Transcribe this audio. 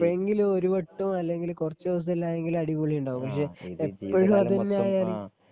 എപ്പോഴെങ്കിലും ഒരുവട്ടം അല്ലെങ്കില് കുറച്ച് ദിവസം എല്ലാം ആയെങ്കില് അടിപൊളി ഉണ്ടാകും. പക്ഷേ എപ്പോഴും അത് തന്നെ ആയാല്